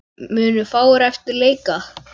Munu fáir eftir leika.